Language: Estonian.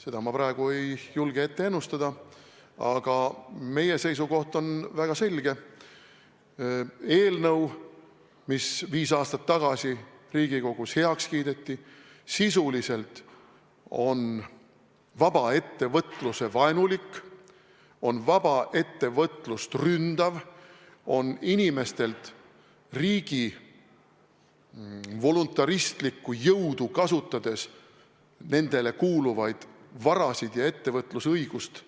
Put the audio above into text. Seda ma praegu ei julge ennustada, aga meie seisukoht on väga selge: eelnõu, mis viis aastat tagasi Riigikogus heaks kiideti, on sisuliselt vaba ettevõtluse vaenulik, on vaba ettevõtlust ründav, on inimestelt riigi voluntaristlikku jõudu kasutades nendele kuuluvaid varasid ära võttev ja ettevõtlusõigust